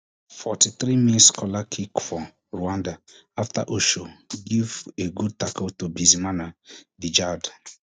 forty-three mins corler kick for rwanda afta osho give a gud tako to bizmana djihad